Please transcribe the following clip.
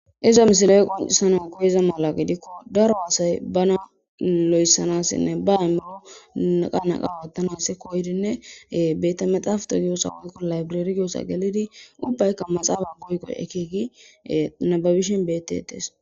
Iza misile qonccisanaw koyida mala gidiko, daro asay bana loyththanasinne ba aymiro neqa neqa oothanasi koyidinne betemexaafite woykko liberere giyossa gelidi ubaykka maxaafa koyi koyi ekki nababishen beetetees.